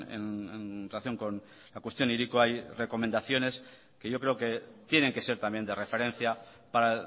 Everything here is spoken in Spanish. en relación con la cuestión hiriko hay recomendaciones que yo creo que tienen que ser también de referencia para